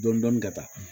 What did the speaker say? Dɔni dɔni ka taa